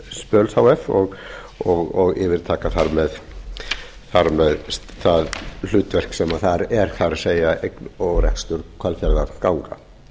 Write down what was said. spalar h f og yfirtaka þar með það hlutverk sem þar er það er eign og rekstur hvalfjarðarganga